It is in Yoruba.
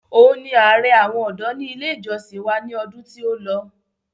Òun ni ààrẹ àwọn ọ̀dọ́ ní ilé ìjọsìn wa ní ọdún tí ó lọ